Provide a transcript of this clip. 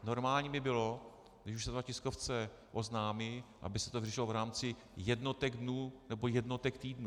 Normální by bylo, když už se to na tiskovce oznámí, aby se to vyřešilo v rámci jednotek dnů nebo jednotek týdnů.